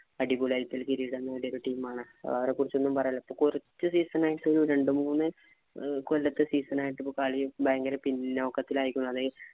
അടിപൊളി ആയിട്ട് കിരീടം നേടിയ ഒക്കെ team ആണ്. അവരെ കുറച്ചു ഒന്നും പറയാനല്ല. ഇപ്പൊ കുറച്ചു season ആയിട്ട് രണ്ടുമൂന്നു കൊല്ലത്തെ season ആയിട്ട് ഇപ്പൊ കളി ഭയങ്കര പിന്നോക്കത്തിലായിക്കുന്നു അത്